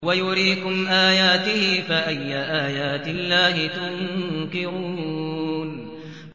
وَيُرِيكُمْ آيَاتِهِ فَأَيَّ آيَاتِ اللَّهِ تُنكِرُونَ